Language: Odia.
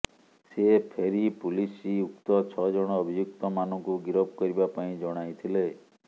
ସେ ଫେରି ପୋଲିସ ଉକ୍ତ ଛଅ ଜଣ ଅଭିଯୁକ୍ତ ମାନଙ୍କୁ ଗିରଫ କରିବା ପାଇଁ ଜଣାଇଥିଲେ